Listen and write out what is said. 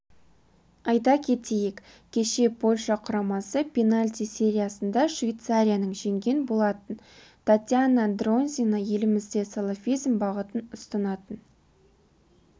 айта кетейік кеше польша құрамасы пенальти сериясында швейцарияның жеңген болатын татьяна дронзина елімізде салафизм бағытын ұстанатын